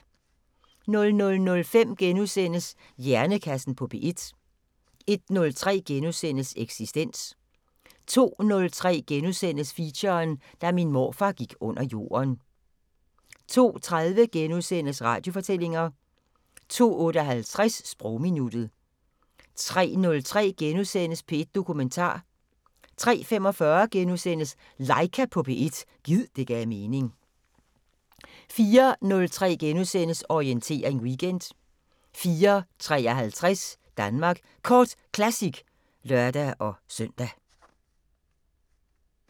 00:05: Hjernekassen på P1 * 01:03: Eksistens * 02:03: Feature: Da min morfar gik under jorden * 02:30: Radiofortællinger * 02:58: Sprogminuttet 03:03: P1 Dokumentar * 03:45: Laika på P1 – gid det gav mening * 04:03: Orientering Weekend * 04:53: Danmark Kort Classic (lør-søn)